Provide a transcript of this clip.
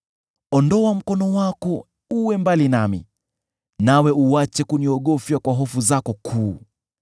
Ondoa mkono wako uwe mbali nami, nawe uache kuniogofya kwa hofu zako kuu.